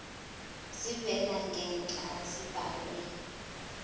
zivela ngenhla zibhalwe